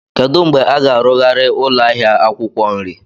Kedu mgbe a ga-arụgharị ụlọ ahịa akwukwo nri?